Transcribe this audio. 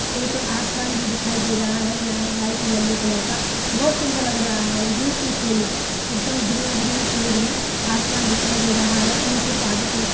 एक आसमान भी दिखाई दे रहा है ल लाइट येलो कलर का। बहुत सुन्दर लग रहा है ब्यूटीफुल एकदम ग्रीन -ग्रीन पेड़ है आसमान दिखाई दे रहा है नीचे पहाड़ी टाइप --